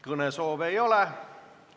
Kõnesoove ei ole.